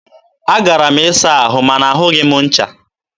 a gara m ịsa ahụ ma na ahụghị m ncha.